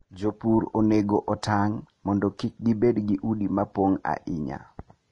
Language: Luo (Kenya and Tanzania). Jopur onego otang' mondo kik gibed gi udi mopong' ahinya.